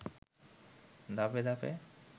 ধাপে ধাপে